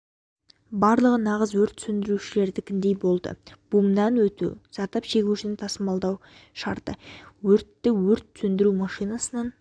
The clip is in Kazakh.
барлығы нағыз өрт сөндірушілердікіндей болды бумнан өту зардап шегушіні тасымалдау шартты өртті өрт сөндіру машинасынан